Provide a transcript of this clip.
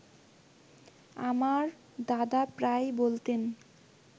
আমার দাদা প্রায়ই বলতেন